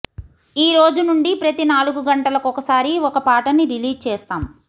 ఈరోజు నుండి ప్రతి నాలుగు గంటలకొకసారి ఒక పాటని రిలీజ్ చేస్తాం